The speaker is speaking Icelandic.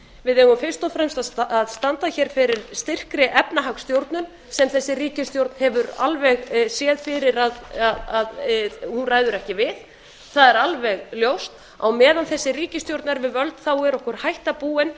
við eigum fyrst og fremst að standa hér fyrir styrkri efnahagsstjórn sem þessi ríkisstjórn hefur alveg séð fyrir að hún ræður ekki við það er alveg ljóst á meðan þessi ríkisstjórn er við völd er okkur hætta búin